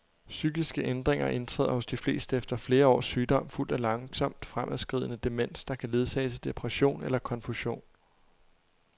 Psykiske ændringer indtræder hos de fleste efter flere års sygdom, fulgt af langsomt fremadskridende demens, der kan ledsages af depression eller konfusion.